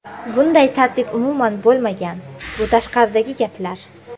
Bunday tartib umuman bo‘lmagan, bu tashqaridagi gaplar.